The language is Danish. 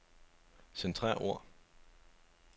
Centrer ord.